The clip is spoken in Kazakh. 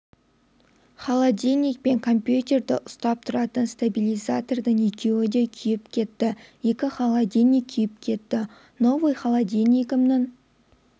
холодильник пен компьютерді ұстап тұратын стабилизатордың екеуі де күйіп кетті екі холодильник күйіп кетті новый холодильнигімнің